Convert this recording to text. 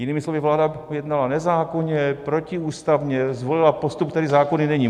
Jinými slovy, vláda jednala nezákonně, protiústavně, zvolila postup, který zákonný není.